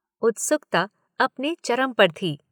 उत्सुकता अपने चरम पर थी।